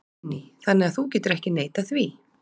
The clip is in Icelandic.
Guðný: Þannig að þú getur ekki neitað því?